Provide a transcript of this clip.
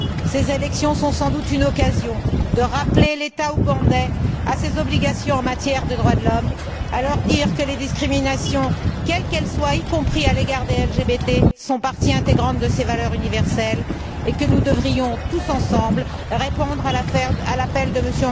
Ces élections sont sans doute une occasion de rappeler l'État ougandais à ses obligations en matière de droits de l'homme, de lui dire que la lutte contre les discriminations quelles qu'elles soient, y compris à l'égard des LGBT, fait partie intégrante de ces valeurs universelles et que nous devrions tous ensemble répondre à l'appel de M.